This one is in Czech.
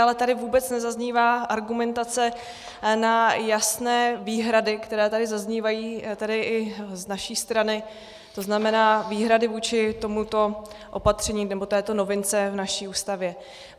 Ale tady vůbec nezaznívá argumentace na jasné výhrady, které tady zaznívají, tedy i z naší strany, to znamená výhrady vůči tomuto opatření, nebo této novince v naší Ústavě.